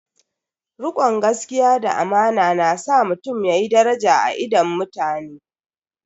Rikon gaskiya da amana na sa mutum yayi daraja a idon mutane.